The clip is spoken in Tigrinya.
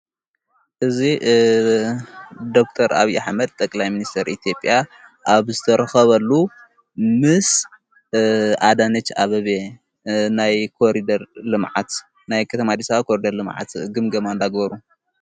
እዙ ዶክተር ኣብይ ኅመድ ጠቅላይ ምንስተር ኢቲዮጲዮ ኣብ ዝተረኸበሉ ምስ ኣዳንጭ ኣበቤየ ናይ ኮሪደር ልመዓት ናይ ከተማዲሳ ኮሪደር ልመዓት ግምገማ እንዳግበሩ።